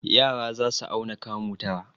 Yara za su auna kamu tara.